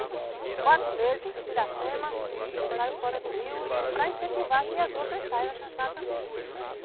Os quatro meses de Piracema, eu saio fora do rio e para incentivar que as outras saiam a também.